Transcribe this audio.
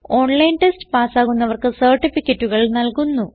online test പാസ്സാകുന്നവർക്ക് സർട്ടിഫികറ്റുകൾ നല്കുന്നു